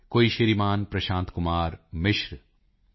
ਕੋਈ ਸ਼੍ਰੀਮਾਨ ਪ੍ਰਸ਼ਾਂਤ ਕੁਮਾਰ ਮਿਸ਼ਰ ਟੀ